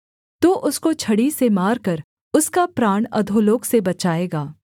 तू उसको छड़ी से मारकर उसका प्राण अधोलोक से बचाएगा